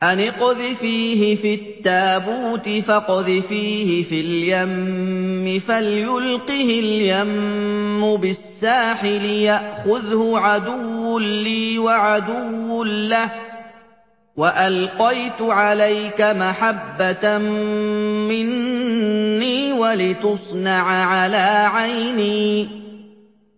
أَنِ اقْذِفِيهِ فِي التَّابُوتِ فَاقْذِفِيهِ فِي الْيَمِّ فَلْيُلْقِهِ الْيَمُّ بِالسَّاحِلِ يَأْخُذْهُ عَدُوٌّ لِّي وَعَدُوٌّ لَّهُ ۚ وَأَلْقَيْتُ عَلَيْكَ مَحَبَّةً مِّنِّي وَلِتُصْنَعَ عَلَىٰ عَيْنِي